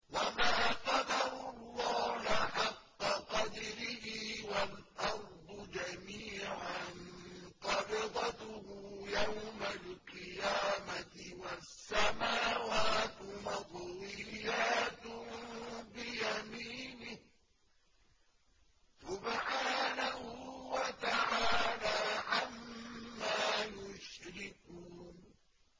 وَمَا قَدَرُوا اللَّهَ حَقَّ قَدْرِهِ وَالْأَرْضُ جَمِيعًا قَبْضَتُهُ يَوْمَ الْقِيَامَةِ وَالسَّمَاوَاتُ مَطْوِيَّاتٌ بِيَمِينِهِ ۚ سُبْحَانَهُ وَتَعَالَىٰ عَمَّا يُشْرِكُونَ